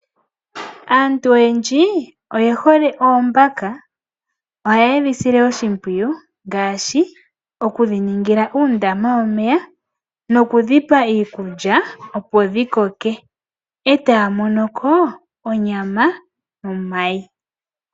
Aantu oyendji oyehole oombaka. Ohaye dhi sile oshimpwiyu, ngaashi okudhiningila uundama womeya nokudhipa iikulya, opo dhikoke, etaya monoko onyama nomayi.